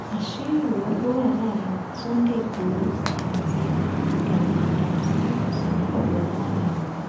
àṣírí wo lo wà láàrin sunday lgboro àti gani adams ti ikùn sínú fìwà láàrin wọn